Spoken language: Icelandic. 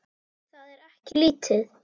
Það er ekki lítið.